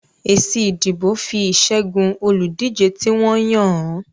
Èsì ìdìbò fi ìṣẹ́gun olùdíje tí wọ́n yàn hàn